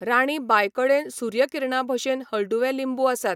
राणी बाय कडेन सुर्य किरणा भशेन हळदूवे लिंबू आसात.